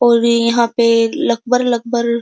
और यहाँ पे --